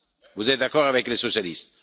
Vous êtes d'accord avec les socialistes?